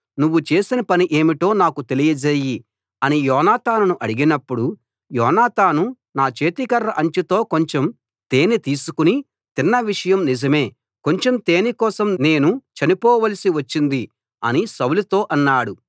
నువ్వు చేసిన పని ఏమిటో నాకు తెలియజేయి అని యోనాతానును అడిగినప్పుడు యోనాతాను నా చేతికర్ర అంచుతో కొంచెం తేనె తీసుకుని తిన్న విషయం నిజమే కొంచెం తేనె కోసం నేను చనిపోవలసి వచ్చింది అని సౌలుతో అన్నాడు